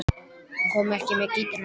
Hann kom ekki með gítarinn, Kalli.